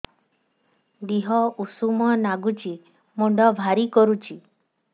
ଦିହ ଉଷୁମ ନାଗୁଚି ମୁଣ୍ଡ ଭାରି କରୁଚି